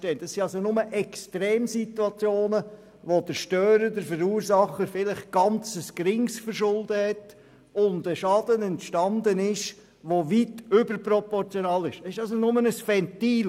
Es handelt sich dabei lediglich um Extremsituationen, bei welchen der Störer unter Umständen ein sehr geringes Verschulden trägt und der entstandene Schaden weit überproportional dazu ausfällt.